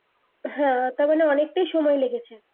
হ্যা তারমানে অনেকটাই সময় লেগেছে